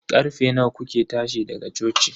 Karfe nawa kuke tashi daga coci?